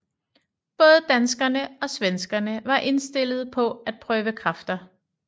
Både danskerne og svenskerne var indstillet på at prøve kræfter